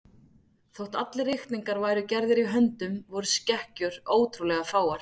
Þótt allir reikningar væru gerðir í höndum voru skekkjur ótrúlega fáar.